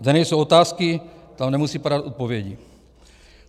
Kde nejsou otázky, tam nemusí padat odpovědi.